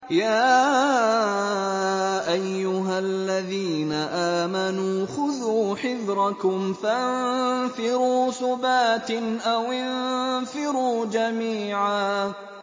يَا أَيُّهَا الَّذِينَ آمَنُوا خُذُوا حِذْرَكُمْ فَانفِرُوا ثُبَاتٍ أَوِ انفِرُوا جَمِيعًا